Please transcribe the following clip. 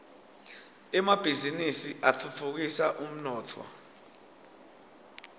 emabhiznnisi atfutfukisa umnotfo